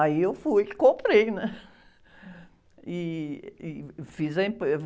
Aí eu fui e comprei, né? E, e, fiz a...